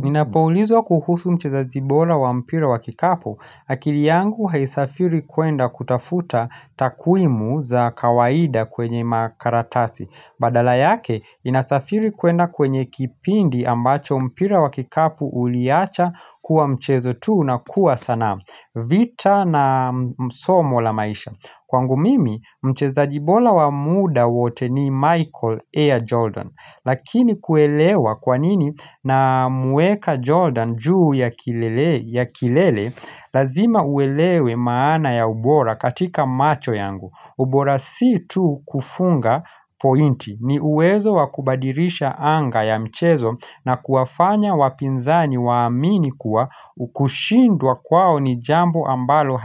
Ninapoulizwa kuhusu mchezaji bora wa mpira wa kikapu, akili yangu haisafiri kuenda kutafuta takwimu za kawaida kwenye makaratasi. Badala yake, inasafiri kuenda kwenye kipindi ambacho mpira wa kikapu uliacha kuwa mchezo tu na kuwa sanaa. Vita na msomo la maisha. Kwangu mimi, mchezaji bora wa muda wote ni Michael A. Jordan. Lakini kuelewa kwa nini namweka Jordan juu ya kilele Lazima uelewe maana ya ubora katika macho yangu ubora si tu kufunga pointi ni uwezo wa kubadilisha anga ya mchezo na kuwafanya wapinzani waamini kuwa Ukushindwa kwao ni jambo ambalo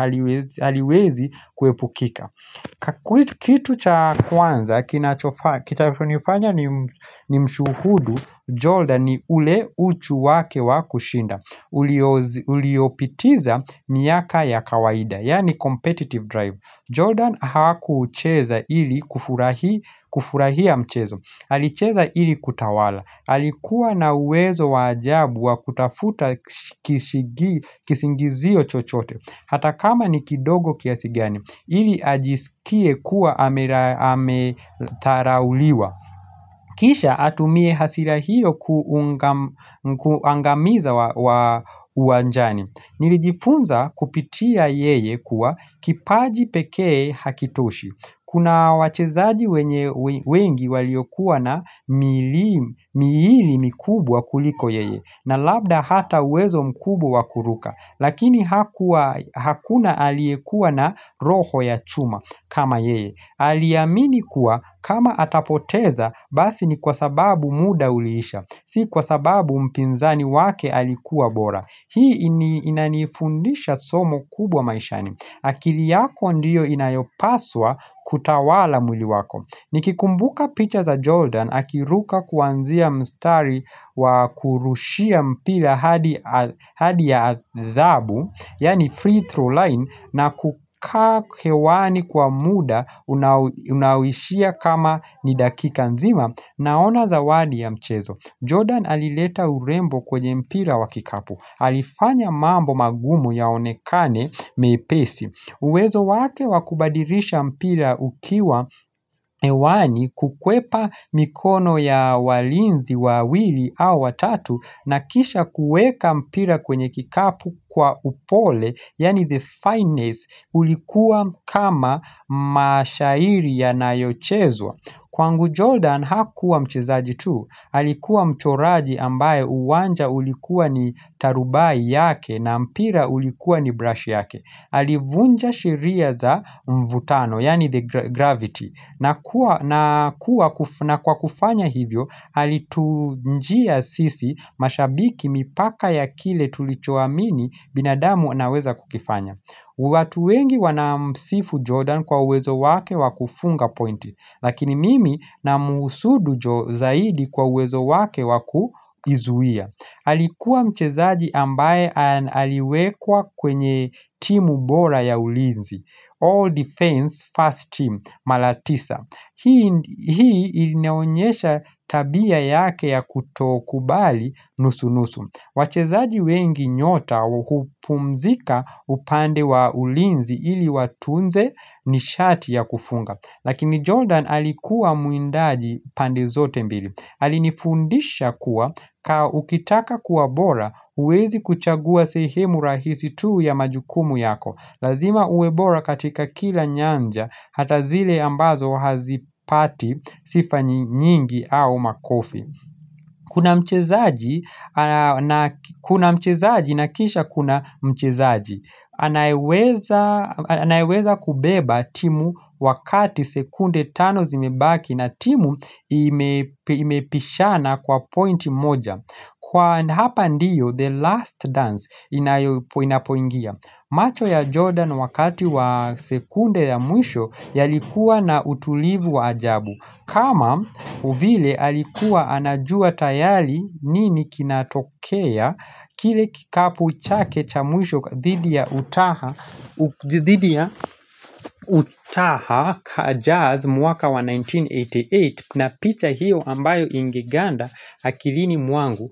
haliwezi kuepukika Kitu cha kwanza, kitachonifanya nimshuhudu Jordan ni ule uchu wake wa kushinda Uliopitiza miaka ya kawaida, yaani competitive drive Jordan hakucheza ili kufurahia mchezo Alicheza ili kutawala Alikuwa na uwezo wa ajabu wa kutafuta kisingizio chochote Hata kama ni kidogo kiasi gani ili ajisikie kuwa amedharauliwa Kisha atumie hasira hiyo kuangamiza wa uanjani Nilijifunza kupitia yeye kuwa kipaji pekee hakitoshi Kuna wachezaji wengi waliokuwa na miili mikubwa kuliko yeye na labda hata uwezo mkubwa wa kuruka Lakini hakuna aliyekua na roho ya chuma kama yeye Aliamini kuwa kama atapoteza basi ni kwa sababu muda uliisha Si kwa sababu mpinzani wake alikuwa bora Hii inanifundisha somo kubwa maishani akili yako ndiyo inayopaswa kutawala mwili wako Nikikumbuka picha za Jordan Akiruka kuanzia mstari wa kurushia mpira hadi ya adhabu Yaani free throw line na kukaa hewani kwa muda unawishia kama ni dakika nzima Naona zawadi ya mchezo Jordan alileta urembo kwenye mpira wa kikapu Alifanya mambo magumu yaonekane mepesi uwezo wake wa kubadilisha mpira ukiwa hewani kukwepa mikono ya walinzi, wawili au watatu na kisha kueka mpira kwenye kikapu kwa upole, yaani the finest, ulikuwa kama mashairi yanayochezwa. Kwangu Jordan hakuwa mchezaji tu, alikuwa mchoraji ambaye uwanja ulikuwa ni tarubai yake na mpira ulikuwa ni brush yake. Alivunja sheria za mvutano, yaani the gravity. Na kwa kufanya hivyo, alitujia sisi mashabiki mipaka ya kile tulichoamini binadamu anaweza kukifanya. Watu wengi wanamsifu Jordan kwa uwezo wake wakufunga pointi, lakini mimi na muhusudu zaidi kwa uwezo wake wa kujizuia. Alikuwa mchezaji ambaye aliwekwa kwenye timu bora ya ulinzi, All Defense First team, Malatisa. Hii ilinionyesha tabia yake ya kutokubali nusu-nusu. Wachezaji wengi nyota hupumzika upande wa ulinzi ili watunze nishati ya kufunga. Lakini Jordan alikuwa muindaji pande zote mbili. Alinifundisha kuwa ka ukitaka kuwa bora huwezi kuchagua sehemu rahisi tu ya majukumu yako. Lazima uwe bora katika kila nyanja hata zile ambazo hazipati sifa nyingi au makofi. Kuna mchezaji na kisha kuna mchezaji anayeweza kubeba timu wakati sekunde tano zimebaki na timu imepishana kwa pointi moja Kwa hapa ndiyo the last dance inapoingia macho ya Jordan wakati wa sekunde ya mwisho yalikuwa na utulivu wa ajabu kama vile alikuwa anajua tayari nini kinatokea kile kikapu chake cha mwisho dhidi ya utaha kajaz mwaka wa 1988 na picha hiyo ambayo ingeganda akilini mwangu.